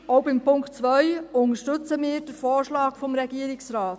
Auch beim Punkt 2 unterstützen wir den Vorschlag des Regierungsrates.